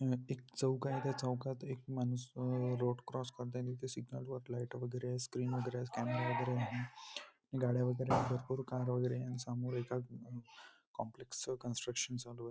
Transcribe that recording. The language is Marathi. मधे एक चौक आहे त्या चौकात एक माणूस अ रोड क्रॉस करतोयअन ते सिग्नल वर लाइटा वगेरे आहे स्क्रीन वगेरे आहे स्कॅनर वगेरे आहे हम गाड्या वगेरे आहे भरपूर कार वगेरे आहे आणि समोर एका कॉम्प्लेक्स च कन्स्ट्रक्षण चालू आहे.